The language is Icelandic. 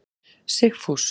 Sigfús